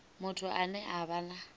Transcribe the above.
muthu ane a vha na